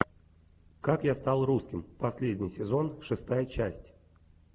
как я стал русским последний сезон шестая часть